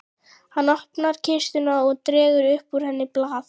Hann opnar kistuna og dregur upp úr henni blað.